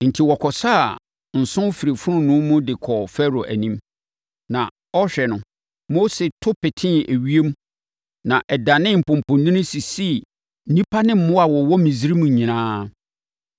Enti, wɔkɔsaa nso firii fononoo mu de kɔɔ Farao anim, na ɔrehwɛ no, Mose to petee ewiem na ɛdanee mpɔmpɔnini sisii nnipa ne mmoa a wɔwɔ Misraim nyinaa.